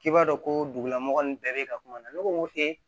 K'i b'a dɔn ko dugulamɔgɔ nin bɛɛ be ka kuma ne ko ee